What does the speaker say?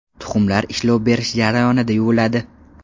Tuxumlar ishlov berish jarayonida yuviladi.